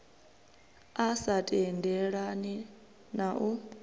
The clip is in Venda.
a sa tendelani na u